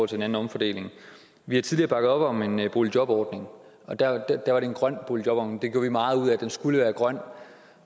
til en anden omfordeling vi har tidligere bakket op om en boligjobordning og da var det en grøn boligjobordning vi gjorde meget ud af at den skulle være grøn